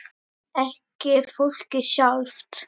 Ekki fólkið sjálft.